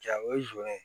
Jaa o ye zon ye